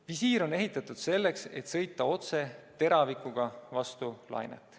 Visiir on ehitatud selleks, et sõita otse, teravik vastu lainet.